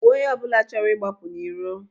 Gbuo onye ọbụla chọrọ ịgbapụ n'iro!